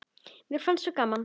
Mér fannst svo gaman.